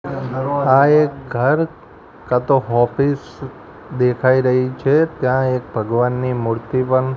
આ એક ઘર કાતો ઓફિસ દેખાય રહી છે ત્યાં એક ભગવાનની મૂર્તિ પણ--